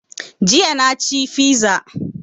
Jiya na ci fiza